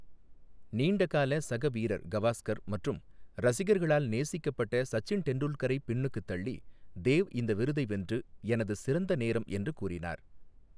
நீண்டகால சக வீரர் கவாஸ்கர் மற்றும் ரசிகர்களால் நேசிக்கப்பட்ட சச்சின் டெண்டுல்கரைப் பின்னுக்குத் தள்ளி தேவ் இந்த விருதை வென்று, 'எனது சிறந்த நேரம்' என்று கூறினார்.